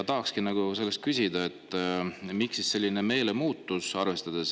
Tahakski küsida, miks selline meelemuutus.